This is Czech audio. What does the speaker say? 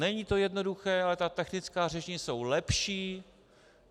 Není to jednoduché, ale ta taktická řešení jsou lepší.